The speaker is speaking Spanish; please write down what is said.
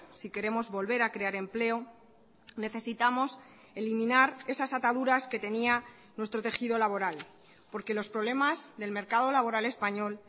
si queremos volver a crear empleo necesitamos eliminar esas ataduras que tenía nuestro tejido laboral porque los problemas del mercado laboral español